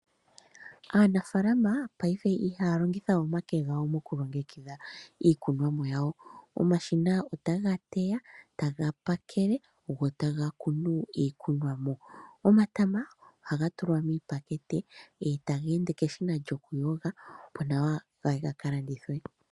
Aanafaalama paife ihaya longitha oonyala dhawo mokulongekidha iikunomwa yawo, omashina otaya teya, taga pakele, go taga kunu iikunomwa. Omatama ohaga tulwa miipakete, eta ga tulwa meshina lyoku yoga opo yawape okukalandithwa.